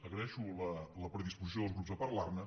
agraeixo la predisposició dels grups a parlar ne